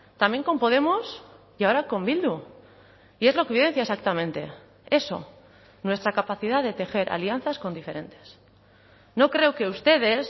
también con podemos y ahora con bildu y es lo que evidencia exactamente eso nuestra capacidad de tejer alianzas con diferentes no creo que ustedes